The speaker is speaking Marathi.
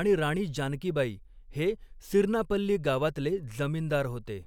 आणि राणी जानकीबाई हे सिरनापल्ली गावातले जमीनदार होते.